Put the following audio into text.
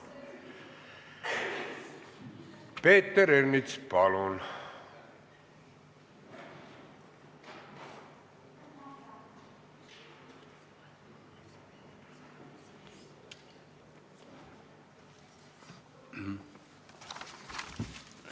Peeter Ernits, palun!